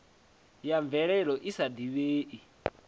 ya mvelelo i sa divhei